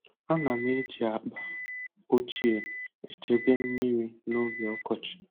Ana m eji akpa ochie echebe mmiri n’oge ọkọchị.